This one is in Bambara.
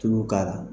Tulu k'a la